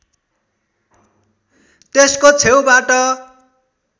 त्यसको छेउबाट